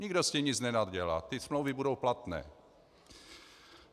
Nikdo s tím nic nenadělá, ty smlouvy budou platné.